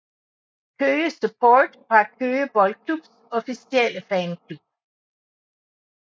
Køge Support var Køge Boldklubs officielle fanklub